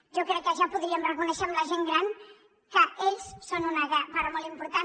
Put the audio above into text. jo crec que ja podríem reconèixer a la gent gran que ells en són una part molt important